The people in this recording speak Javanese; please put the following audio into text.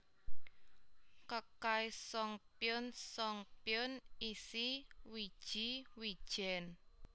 Kkaesongpyeon songpyeon isi wiji wijen